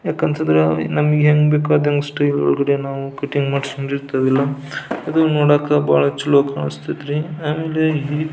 ಯಾಕ್ ಅಂತ ಅಂದ್ರೆ ನಮಗೆ ಹೆಂಗ್ ಬೇಕು ಅದನ ಒಳಗಡೆ ನಾವು ಕಟ್ಟಿಂಗ್ ಮಾಡಿಸ್ಕೊಂಡ್ ಇರ್ತೀವಲ್ಲ ಅದನ ನೋಡಾಕ ಬಹಳ ಚಲೋ ಕಾಣಿಸತೈತಿ ಅಂದ್ರೆ-